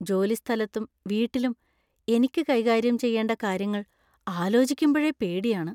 ജോലിസ്ഥലത്തും വീട്ടിലും എനിക്ക് കൈകാര്യം ചെയ്യേണ്ട കാര്യങ്ങള്‍ ആലോചിക്കുമ്പഴേ പേടിയാണ്.